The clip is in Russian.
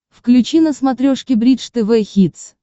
включи на смотрешке бридж тв хитс